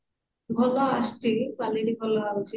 ଭଲ ଆସୁଛି quality ଭଲ ଆସୁଛି